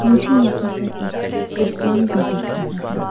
मुझे यहां पर एक फुटबॉल भी दिख रहा है।